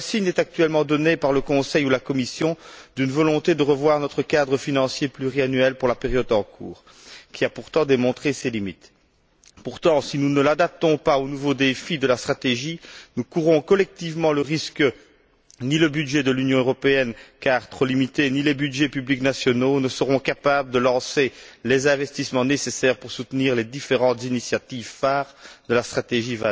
Aucun signe n'est actuellement donné par le Conseil ou la Commission quant à une volonté de revoir notre cadre financier pluriannuel pour la période en cours, qui a pourtant montré ses limites. Cependant, si nous ne l'adaptons pas aux nouveaux défis de la stratégie, nous courons collectivement un grand risque. Ni le budget de l'Union européenne car trop limité ni les budgets publics nationaux ne seront capables de lancer les investissements nécessaires pour soutenir les différentes initiatives phares de la stratégie